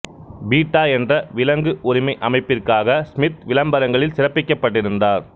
beta என்ற விலங்கு உரிமை அமைப்பிற்காக ஸ்மித் விளம்பரங்களில் சிறப்பிக்கப்பட்டிருந்தார்